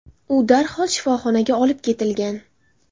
U darhol shifoxonaga olib ketilgan.